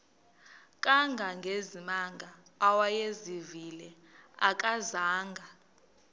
kangangezimanga awayezivile akazanga